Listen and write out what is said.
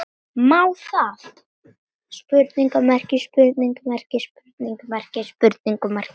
MÁ ÞAÐ????